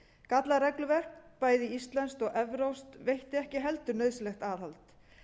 gallað regluverk bæði íslenskt og evrópskt veitti ekki heldur nauðsynlegt aðhald